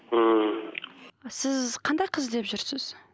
ммм сіз қандай қыз іздеп жүрсіз